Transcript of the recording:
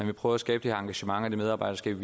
vil prøve at skabe engagement og medarbejderskab